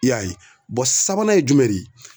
I y'a ye, a sabanan ye jumɛn de ye?